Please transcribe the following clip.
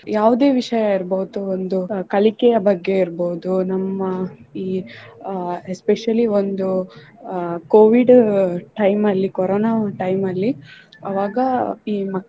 ಯಾವುದೇ ವಿಷಯ ಇರ್ಬೋದು ಒಂದು ಕಲಿಕೆಯ ಬಗ್ಗೆ ಇರ್ಬೋದು ನಮ್ಮ ಈ ಅಹ್ especially ಒಂದು ಅಹ್ covid time ಅಲ್ಲಿ ಕೊರೊನ time ಅಲ್ಲಿ ಆವಾಗ ಈ.